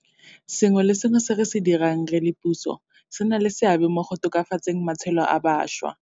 Sengwe le sengwe se re se dirang re le puso se na le seabe mo go tokafatseng matshelo a bašwa.